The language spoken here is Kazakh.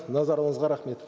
назарыңызға рахмет